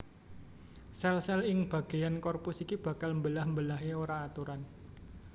Sèl sèl ing bagéyan korpus iki bakal mbelah mbelahé ora aturan